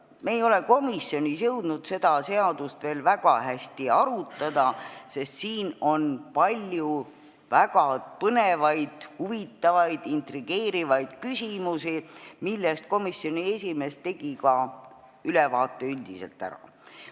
Me ei ole komisjonis jõudnud seda seadust veel väga hästi arutada, sest siin on palju väga põnevaid, huvitavaid, intrigeerivaid küsimusi, millest komisjoni esimees tegi ülevaate üldiselt ära.